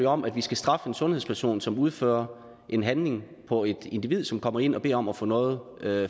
om at vi skal straffe en sundhedsperson som udfører en handling på et individ som kommer ind og beder om at få noget